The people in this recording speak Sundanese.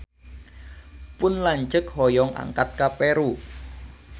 Pun lanceuk hoyong angkat ka Peru